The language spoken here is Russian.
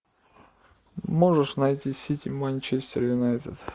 можешь найти сити манчестер юнайтед